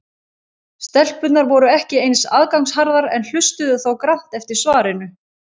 Stelpurnar voru ekki eins aðgangsharðar en hlustuðu þó grannt eftir svarinu.